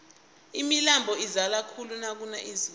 imilambo izala khulu nakuna izulu nje